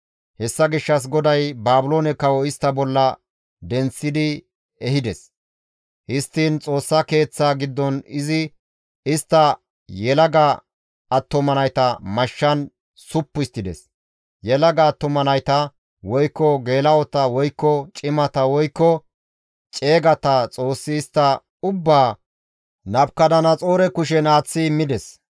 Hessa gishshas GODAY Baabiloone kawo istta bolla denththidi ehides; histtiin Xoossa Keeththaa giddon izi istta yelaga attuma nayta mashshan suppu histtides; yelaga attuma nayta, woykko geela7ota, woykko cimata, woykko ceegata Xoossi istta ubbaa Nabukadanaxoore kushen aaththi immides.